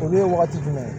Olu ye wagati jumɛn ye